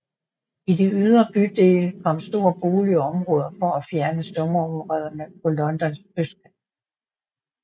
I de ydre bydele kom store boligområder for at fjerne slumområderne på Londons østkant